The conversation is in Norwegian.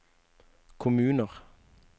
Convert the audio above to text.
kommuner